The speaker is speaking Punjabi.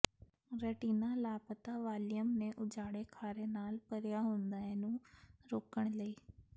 ਰੈਟਿਨਾ ਲਾਪਤਾ ਵਾਲੀਅਮ ਦੇ ਉਜਾੜੇ ਖਾਰੇ ਨਾਲ ਭਰਿਆ ਹੁੰਦਾ ਹੈ ਨੂੰ ਰੋਕਣ ਲਈ